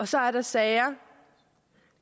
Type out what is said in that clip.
så er der sager